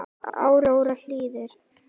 Áróra Hlín.